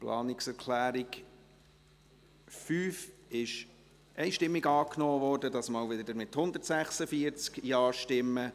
Die Planungserklärung 5 wurde einstimmig angenommen, diesmal wieder mit 146 JaStimmen.